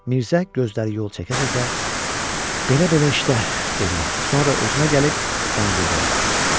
Mirzə gözləri yol çəkə-çəkə, belə-belə işlər, dedi, sonra özünə gəlib yan-yörəyə baxdı.